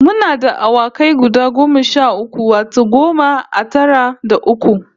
Muna da awakai guda goma sha uku, wato goma a tara da uku